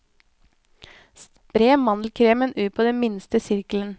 Spre mandelkremen ut på den minste sirkelen.